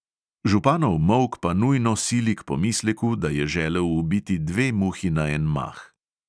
Županov molk pa nujno sili k pomisleku, da je želel ubiti dve muhi na en mah.